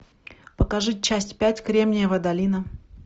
покажи часть пять кремниевая долина